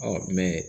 mɛn